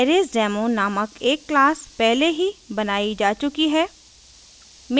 arraysdemo named एक क्लासपहले ही बनायी जा चुकी है